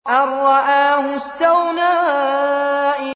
أَن رَّآهُ اسْتَغْنَىٰ